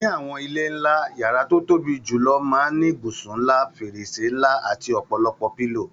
Ní àwọn ilé ńlá, yàrá tó tóbi julọ máa n ni ibùsùn ńlá, fèrèsé ńlá ati ọpọlọpọ pílòò